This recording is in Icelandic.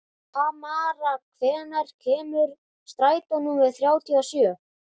Tamara, hvenær kemur strætó númer þrjátíu og sjö?